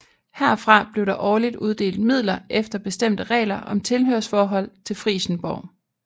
Herfra blev der årligt uddelt midler efter bestemte regler om tilhørsforhold til Frijsenborg